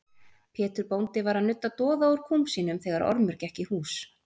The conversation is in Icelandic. Pétur bóndi var að nudda doða úr kúm sínum þegar Ormur gekk í hús.